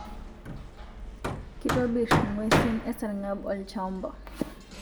Kitobir nguesin esarngab olchamba